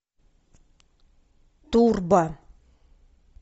турбо